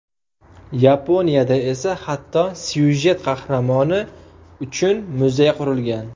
Yaponiyada esa hatto syujet qahramoni uchun muzey qurilgan.